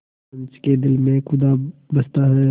पंच के दिल में खुदा बसता है